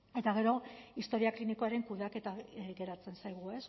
eta gero historia klinikoaren kudeaketa geratzen zaigu